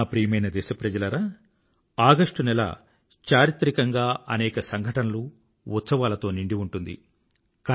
నాప్రియమైన దేశప్రజలారా ఆగష్టు నెల చారిత్రికంగా అనేక సంఘటనలు ఉత్సవాలతో నిండి ఉంటుంది